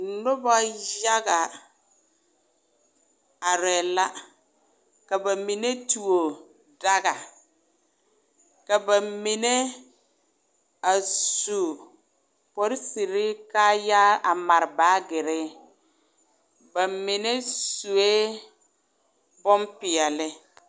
Noba yaga are la, ka ba mine tuo daga ka ba mine su polisiir kaayaa a mare mare baagere ba mine sue bonpɛɛle.